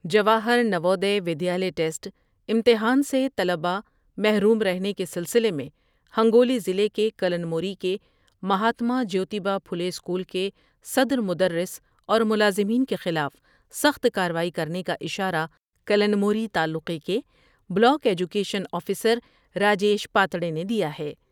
Jawahar Navodaya Vidyalaya test امتحان سے طلباءمحروم رہنے کے سلسلے میں ہنگو لی ضلع کے کلمنوری کے مہاتما جیوتی با پچھلے اسکول کے صدر مدرس اور ملازمین کے خلاف سخت کاروائی کرنے کا اشارہ کلمنوری تعلقے کے block education officer Rajesh Patade نے دیا ہے ۔